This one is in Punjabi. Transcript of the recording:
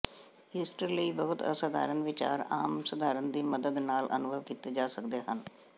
ਈਸਟਰ ਲਈ ਬਹੁਤ ਅਸਧਾਰਨ ਵਿਚਾਰ ਆਮ ਸਧਾਰਨ ਦੀ ਮਦਦ ਨਾਲ ਅਨੁਭਵ ਕੀਤੇ ਜਾ ਸਕਦੇ ਹਨ